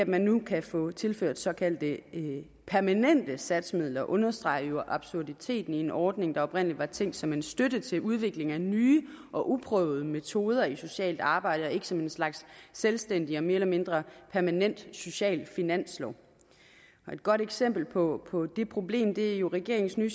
man nu kan få tilført såkaldte permanente satsmidler understreger jo absurditeten i en ordning der oprindelig var tænkt som en støtte til udvikling af nye og uprøvede metoder i socialt arbejde og ikke som en slags selvstændig og mere eller mindre permanent social finanslov et godt eksempel på på det problem er jo regeringens nye